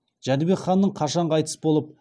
жәнібек ханның қашан қайтыс болып